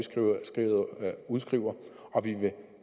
udskriver og vi vil